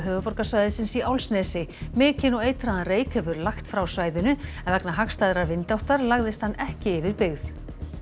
höfuðborgarsvæðisins í Álfsnesi mikinn og eitraðan reyk hefur lagt frá svæðinu en vegna hagstæðrar vindáttar lagðist hann ekki yfir byggð